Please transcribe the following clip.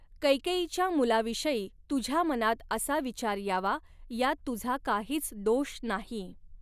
कैकेयीच्या मुलाविषयी तुझ्या मनात असा विचार यावा यात तुझा काहीच दोष नाही.